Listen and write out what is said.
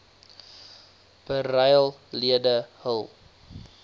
beryl lede hul